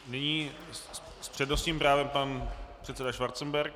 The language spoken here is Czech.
Nyní s přednostním právem pan předseda Schwarzenberg.